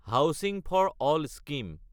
housing for all scheme